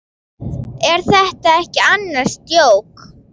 Er þetta ekki annars djók?